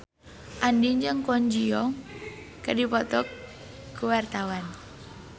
Andien jeung Kwon Ji Yong keur dipoto ku wartawan